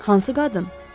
Hansı qadın?